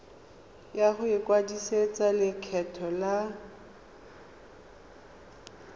ya go ikwadisetsa lekgetho la